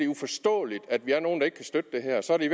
uforståeligt at vi er nogle der ikke kan støtte det her så er det i